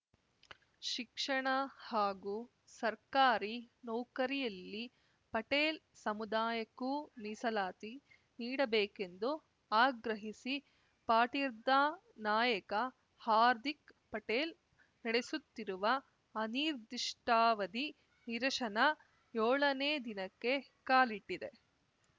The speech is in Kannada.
ಶಿಕ್ಷಣ ಹಾಗೂ ಸರ್ಕಾರಿ ನೌಕರಿಯಲ್ಲಿ ಪಟೇಲ್‌ ಸಮುದಾಯಕ್ಕೂ ಮೀಸಲಾತಿ ನೀಡಬೇಕೆಂದು ಆಗ್ರಹಿಸಿ ಪಾಟಿರ್ದಾ ನಾಯಕ ಹಾರ್ದಿಕ್‌ ಪಟೇಲ್‌ ನಡೆಸುತ್ತಿರುವ ಅನಿರ್ದಿಷ್ಟಾವಧಿ ನಿರಶನ ಯೋಳನೇ ದಿನಕ್ಕೆ ಕಾಲಿಟ್ಟಿದೆ